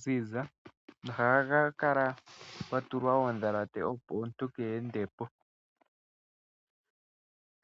ziza. Ohaga kala pwa tulwa oondhalate opo omuntu keende po.